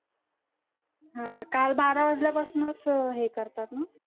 हम्म काल बारा वाजल्या पासनच हे करतात ना